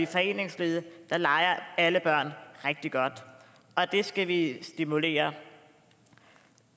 foreningslivet leger alle børn rigtig godt og det skal vi stimulere